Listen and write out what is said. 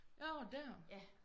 Nårh der